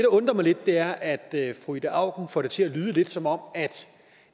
undrer mig lidt er at fru ida auken får det til at lyde lidt som om